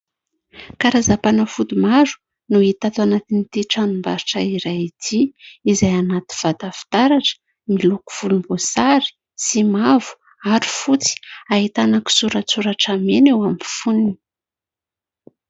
Karazam-panafody maro no hita ato anatin'ity tranom-barotra iray ity, izay anaty vata fitaratra miloko volomboasary sy mavo ary fotsy. Ahitana kisoratsoratra mena eo amin'ny fonony.